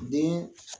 Den